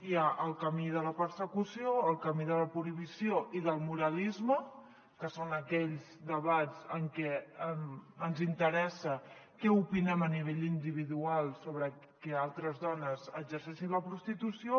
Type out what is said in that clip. hi ha el camí de la persecució el camí de la prohibició i del moralisme que són aquells debats en què ens interessa què opinem a nivell individual sobre que altres dones exerceixin la prostitució